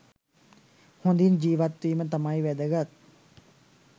හොඳින් ජීවත්වීම තමයි වැදගත්.